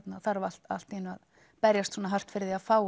þarf allt allt í einu að berjast svona hart fyrir því að fá